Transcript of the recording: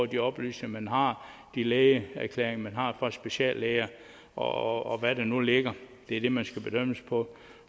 de oplysninger man har de lægeerklæringer man har fra speciallæger og hvad der nu ligger det er det man skal bedømmes på